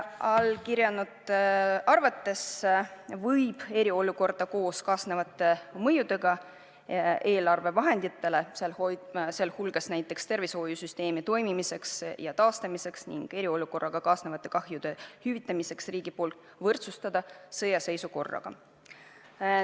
Allakirjutanute arvates võib eriolukorda selle kaasnevate mõjudega eelarvevahenditele, sealhulgas tervishoiusüsteemi toimimiseks ja taastamiseks, ning vajadusega hüvitada riigi poolt eriolukorraga kaasnevaid kahjusid võrdsustada sõjaseisukorraga.